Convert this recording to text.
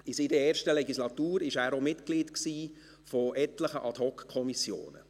In seiner ersten Legislatur war er auch Mitglied etlicher Ad-hocKommissionen.